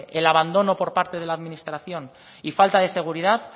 el abandono por parte de la administración y falta de seguridad